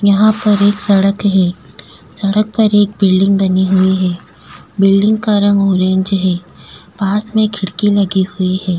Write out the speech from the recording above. यहाँ पर एक सड़क है सड़क पर एक बिल्डिंग बनी हुई है बिल्डिंग का रंग ऑरेंज है पास में खिड़की लगी हुई है।